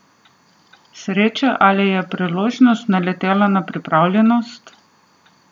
Sreča ali je priložnost naletela na pripravljenost?